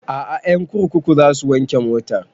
A'a ƴan kurkuku za su wanke motan